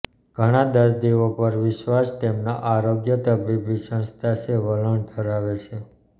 ઘણા દર્દીઓ પર વિશ્વાસ તેમના આરોગ્ય તબીબી સંસ્થા છે વલણ ધરાવે છે